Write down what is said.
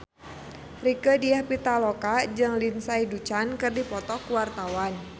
Rieke Diah Pitaloka jeung Lindsay Ducan keur dipoto ku wartawan